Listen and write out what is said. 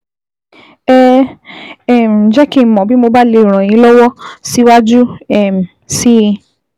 Ẹ um jẹ́ kí n mọ̀ bí mo bá lè ràn yín lọ́wọ́ síwájú um sí i